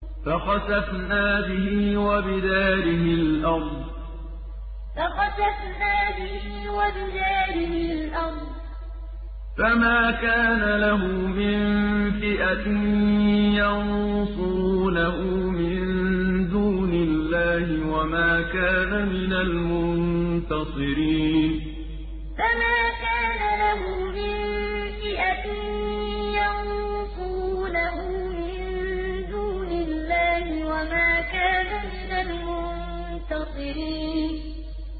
فَخَسَفْنَا بِهِ وَبِدَارِهِ الْأَرْضَ فَمَا كَانَ لَهُ مِن فِئَةٍ يَنصُرُونَهُ مِن دُونِ اللَّهِ وَمَا كَانَ مِنَ الْمُنتَصِرِينَ فَخَسَفْنَا بِهِ وَبِدَارِهِ الْأَرْضَ فَمَا كَانَ لَهُ مِن فِئَةٍ يَنصُرُونَهُ مِن دُونِ اللَّهِ وَمَا كَانَ مِنَ الْمُنتَصِرِينَ